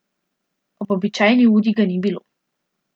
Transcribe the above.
Ob običajni uri ga ni bilo.